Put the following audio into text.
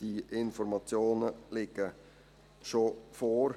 Diese Informationen liegen schon vor.